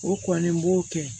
O kɔni b'o kɛ